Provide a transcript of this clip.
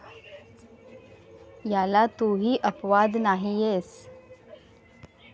याला तूही अपवाद नाहीयेस.